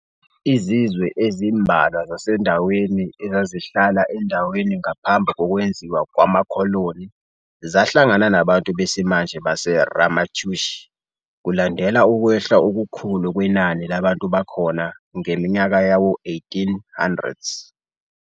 Izizwe ezimbalwa zasendaweni ezazihlala endaweni ngaphambi kokwenziwa kwamakholoni zahlangana nabantu besimanje baseRamaytush kulandela ukwehla okukhulu kwenani labantu bakhona ngeminyaka yawo-1800s.